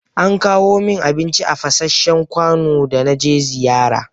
An kawo min abinci a fasanshen kwano da na je ziyara.